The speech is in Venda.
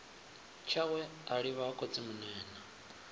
tshawe a livha ha khotsimunene